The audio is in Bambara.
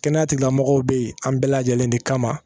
Kɛnɛya tigilamɔgɔw bɛ yen an bɛɛ lajɛlen de kama